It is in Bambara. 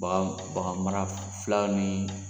Bagan bagan mara filaw ni